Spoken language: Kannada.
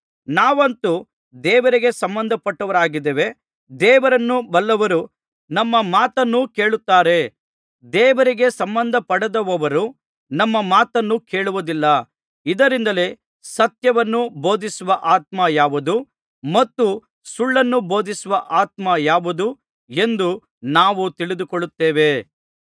ನಾವಂತೂ ದೇವರಿಗೆ ಸಂಬಂಧಪಟ್ಟವರಾಗಿದ್ದೇವೆ ದೇವರನ್ನು ಬಲ್ಲವರು ನಮ್ಮ ಮಾತನ್ನು ಕೇಳುತ್ತಾರೆ ದೇವರಿಗೆ ಸಂಬಂಧಪಡದವರು ನಮ್ಮ ಮಾತನ್ನು ಕೇಳುವುದಿಲ್ಲ ಇದರಿಂದಲೇ ಸತ್ಯವನ್ನು ಬೋಧಿಸುವ ಆತ್ಮ ಯಾವುದು ಮತ್ತು ಸುಳ್ಳನ್ನು ಬೋಧಿಸುವ ಆತ್ಮ ಯಾವುದು ಎಂದು ನಾವು ತಿಳಿದುಕೊಳ್ಳುತ್ತೇವೆ